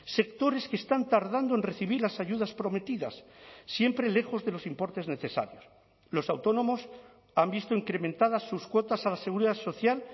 sectores que están tardando en recibir las ayudas prometidas siempre lejos de los importes necesarios los autónomos han visto incrementadas sus cuotas a la seguridad social